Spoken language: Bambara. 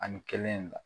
Ani kelen in la